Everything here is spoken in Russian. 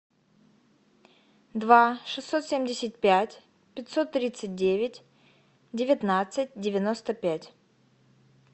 два шестьсот семьдесят пять пятьсот тридцать девять девятнадцать девяносто пять